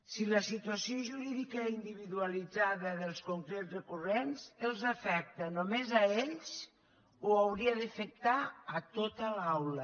si la situació jurídica individualitzada dels concrets recurrents els afecta només a ells o hauria d’afectar a tota l’aula